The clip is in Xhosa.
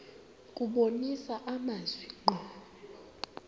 kubonisa amazwi ngqo